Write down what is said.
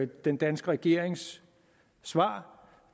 den danske regerings svar